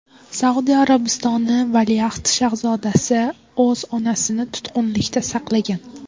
Saudiya Arabistoni valiahd shahzodasi o‘z onasini tutqunlikda saqlagan.